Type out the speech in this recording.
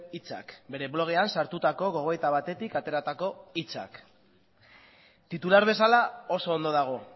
hitzak bere blogean sartutako gogoeta batetik ateratako hitzak titular bezala oso ondo dago